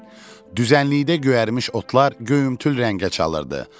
Düzənlikdə göyərmiş otlar göyümtül rəngə çalırdı.